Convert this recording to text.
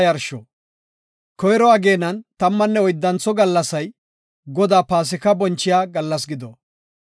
“Koyro ageenan tammanne oyddantho gallasay Godaa Paasika bonchiya gallas gido.